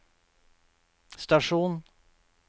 stasjon